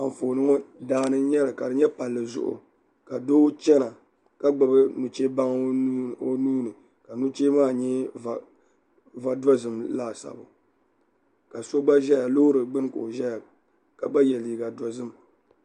Anfooni ŋo daani n nyɛli ka di nyɛ palli zuɣu ka doo chɛna ka gbubi nuchɛ baŋ o nuuni ka nuchee maa nyɛ va dozim laasabu ka so gba ʒɛya loori gbuni ka o ʒɛya ka gba yɛ liiga dozim